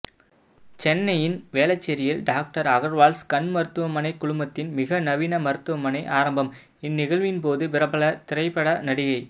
சென்னையின் வேளச்சேரியில் டாக்டர் அகர்வால்ஸ் கண் மருத்துவமனை குழுமத்தின் மிக நவீன மருத்துவமனை ஆரம்பம் இந்நிகழ்வின்போது பிரபல திரைப்பட நடிகை